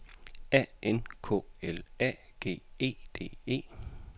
A N K L A G E D E